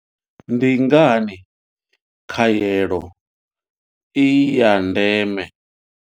Ndi ngani khaelo i ya ndeme.